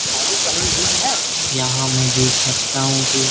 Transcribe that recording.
यहाँ मैं देख सकता हूंँ कि --